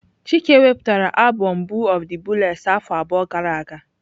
Chike wepụtara abom Boo of the booless afọ abụọ gara aga.